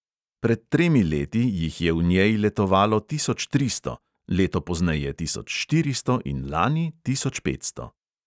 Pred tremi leti jih je v njej letovalo tisoč tristo, leto pozneje tisoč štiristo in lani tisoč petsto.